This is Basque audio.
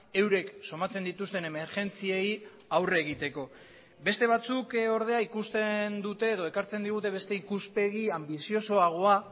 eurek somatzen dituzten emergentziei aurre egiteko beste batzuk ordea ikusten dute edo ekartzen digute beste ikuspegi anbiziosoagoa